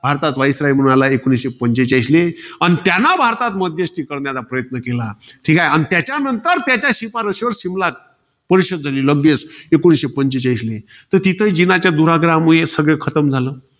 भारतात viceroy म्हणून आला, एकोणीसशे पंचेचाळीसले. अन त्यानं भारतात मध्यस्थी करण्याचा प्रयत्न केला. ठीके. अन त्याच्यानंतर, त्याच्या शिफारशीवर शिमला परिषद झाली लगेच. एकोणीसशे पंचेचाळीसले. तर तिथे जिनाच्या दुराग्रहामुळे सगळं खतम झालं.